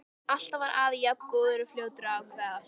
Alltaf var afi jafn góður og fljótur að ákveða allt.